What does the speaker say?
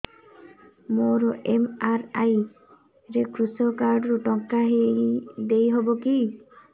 ମୋର ଏମ.ଆର.ଆଇ ରେ କୃଷକ କାର୍ଡ ରୁ ଟଙ୍କା ଦେଇ ହବ କି